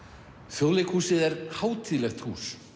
Þjóðleikhúsið er hátíðlegt hús